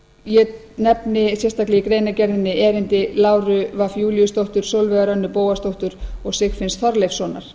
ég nefni sérstaklega í greinargerðinni erindi láru fimmta júlíusdóttur sólveigar önnu bóasdóttur og sigfinns þorleifssonar